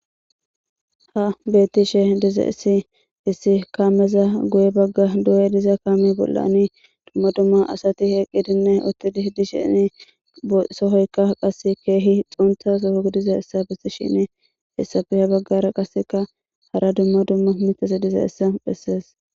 Haysi betishe dizaysi kameza guye bagan diya diza kamezani dumma dumma asati utidine eqishe sohoyka qase kehi xuntha Soho gidishin hesape ha bagara